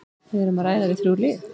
Við erum að ræða við þrjú lið.